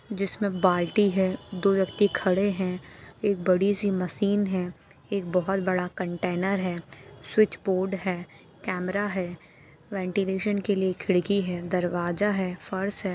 जिसमें बाल्टी है दो व्यक्ति खड़े है एक बड़ी सी मशीन है एक बहुत बड़ा कंटेनर है स्विच बोर्ड है कैमरा है वेंटिलेशन के लिए खिड़की है दरवाजा है फर्श है।